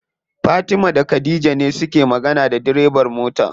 Fatima da khadija ne suke magana da direban mota.